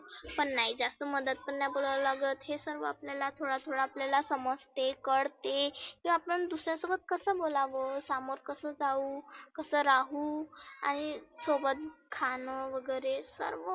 पण नाही जास्त मधात पण नाही बोलावा लागत. हे सर्व आपल्याला थोडा थोडा आपल्याला समजते, कळते. की आपण दुसर्या सोबत कसं बोलावं सामोर कसं जाऊ? कसं राहु, आणि सोबत खानं वगैरे सर्व